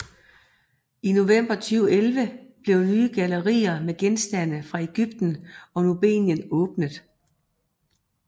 I november 2011 blev nye gallerier med genstande fra Egypten og Nubien åbnet